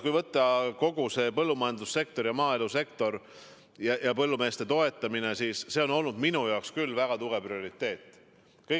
Kui võtta põllumajandussektor ja kogu maaelusektor ning põllumeeste toetamine, siis see on olnud minu jaoks küll väga tugev prioriteet.